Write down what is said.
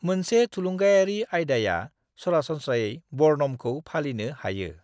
मोनसे थुलुंगायारि आयदाया सरासनस्रायै बर्णमखौ फालिनो हायो।